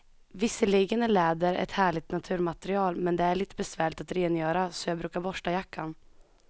Visserligen är läder ett härligt naturmaterial, men det är lite besvärligt att rengöra, så jag brukar borsta jackan.